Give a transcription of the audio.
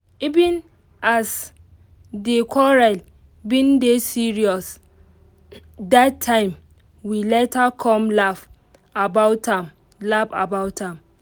even as di quarrel bin dey serious dat time we later come laugh about am laugh about am